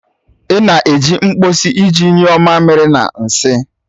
Ị na-eji mkposi iji nyuo mamiri na nsị